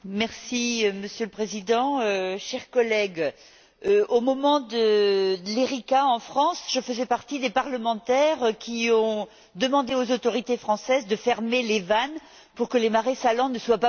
Monsieur le Président, chers collègues, au moment de l'Erika, en France, je faisais partie des députés qui ont demandé aux autorités françaises de fermer les vannes pour que les marais salants ne soient pas pollués.